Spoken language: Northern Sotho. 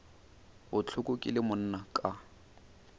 bohloko ke le monna ka